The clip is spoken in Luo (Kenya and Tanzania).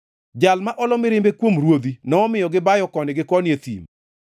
Jal ma olo mirimbe kuom ruodhi nomiyo gibayo koni gi koni e thim.